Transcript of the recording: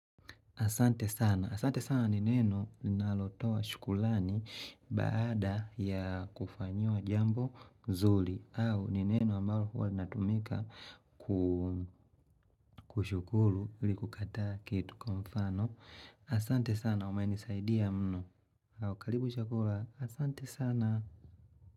Asante sana. Asante sana ni neno ninalotoa shukrani baada ya kufanyiwa jambo zuri. Au ni neno ambalo huwa linatumika kushukuru ili kukataa kitu kwa mfano. Asante sana. Umenisaidia mno. Au karibu chakula. Asante sana.